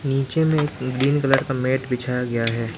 नीचे में एक ग्रीन कलर का मैंट बिछाया गया है।